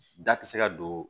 Da ti se ka don